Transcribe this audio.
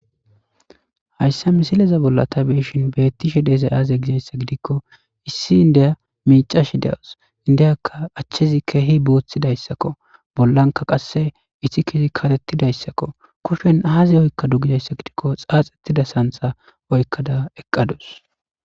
hayssa misileza bollata beishin beettishe deezay aaze gizayssa gidikko issi indeya miicash dewus indiyakka achchezi keehi booththidayssakko bollanka qasse iti kesi katettidayssakko kushen aazi oykka dugizayssa gidikko xaax ettida santha oykkada eqqadus